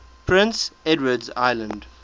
prince edward island